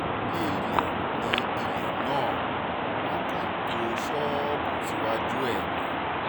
ilé ilé nílẹ̀ náà wọ́n kàn tó ṣọ́ọ̀bù síwájú ẹ̀ ni